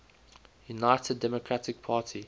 united democratic party